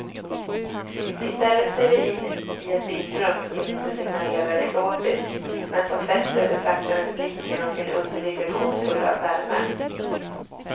Istället ser vi in i ett bildrum som inte signalerar exotiskt, men som fäster betraktarens blick genom sin underliga, gåtfulla värme.